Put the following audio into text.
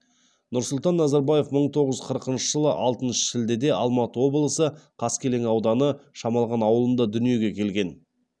нұрсұлтан назарбаев мың тоғыз жүз қырықыншы жылы алтыншы шілдеде алматы облысы қаскелен ауданы шамалған ауылында дүниеге келген